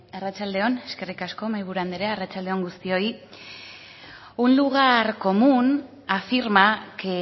bai arratsalde on eskerrik asko mahaiburu andrea arratsalde on guztioi un lugar común afirma que